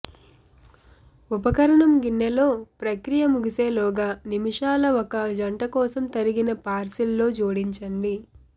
ఉపకరణం గిన్నె లో ప్రక్రియ ముగిసేలోగా నిమిషాల ఒక జంట కోసం తరిగిన పార్స్లీ జోడించండి